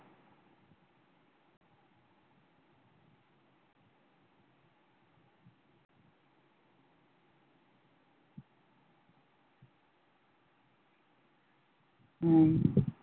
উম